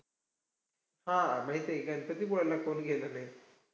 हम्म माहितीयाय की, गणपतीपुळ्याला कोण गेलं न्हाई?